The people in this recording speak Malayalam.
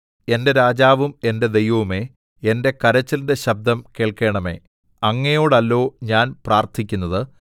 എന്റെ രാജാവും എന്റെ ദൈവവുമേ എന്റെ കരച്ചിലിന്റെ ശബ്ദം കേൾക്കണമേ അങ്ങയോടല്ലോ ഞാൻ പ്രാർത്ഥിക്കുന്നത്